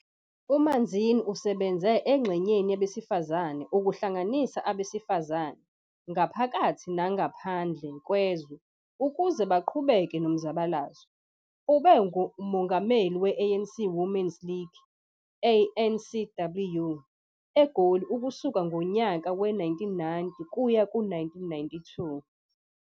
UManzini usebenze engxenyeni yabesifazane ukuhlanganisa abesifazane ngaphakathi nangaphandle kwezwe ukuze baqhubeke nomzabalazo. Ube ngumholi we-ANC Women's League, ANCWL, eGoli kusuka ngonyaka we-1990 kuya ku-1992.